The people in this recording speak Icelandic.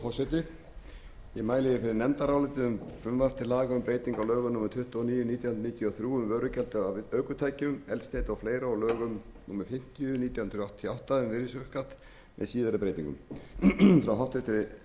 lögum númer tuttugu og níu nítján hundruð níutíu og þrjú um vörugjald af ökutækjum eldsneyti og fleiri og lögum númer fimmtíu nítján hundruð áttatíu og átta um virðisaukaskatt með síðari breytingum frá háttvirtri